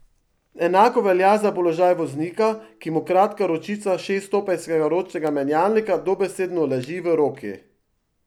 Enako velja za položaj voznika, ki mu kratka ročica šeststopenjskega ročnega menjalnika dobesedno leži v roki.